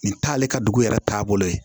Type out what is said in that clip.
Nin t'ale ka dugu yɛrɛ taabolo ye